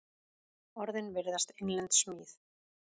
Orðin virðast innlend smíð.